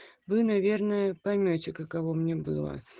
вы наверное поймёте каково мне было